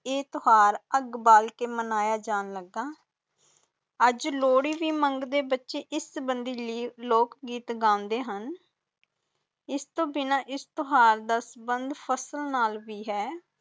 ਈ ਤਿਓਹਾਰ ਅੱਗ ਬਾਲ ਕੇ ਮਨਾਇਆ ਜਾਂਦਾ ਅਜੇ ਲੋਹੜੀ ਬ ਮੰਦੇ ਬਚੇ ਇਸ ਸੰਬਧੀ ਲੋਕ ਗੀਤ ਗੰਦੇ ਹੁਣ ਇਸ ਤੋਂ ਬਿਨਾ ਇਸ ਤਿਓਹਾਰ ਦਾ ਸੰਬੰਧ